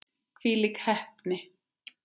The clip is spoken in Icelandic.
Hvílík heppni!